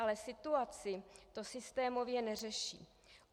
Ale situaci to systémově neřeší.